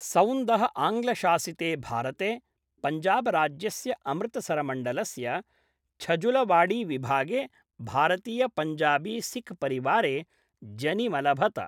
सौन्दः आङ्ग्लशासिते भारते पञ्जाबराज्यस्य अमृतसरमण्डलस्य छजुलवाडीविभागे भारतीयपञ्जाबीसिखपरिवारे जनिमलभत।